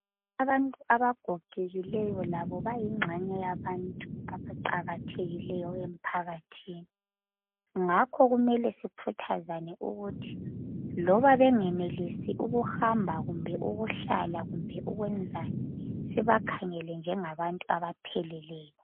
Abantu abagogekileyo labo bayingxenye yabantu abaqakathekileyo emphakathini ngakho kumele sikhuthazane ukuthi noma bengenelisi ukuhamba kumbe ukuhlala kumbe ukwenzani sibakhangele njengabantu abapheleleyo.